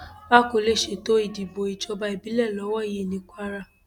a kò lè ṣètò ìdìbò ìjọba ìbílẹ lọwọ yìí ní kwara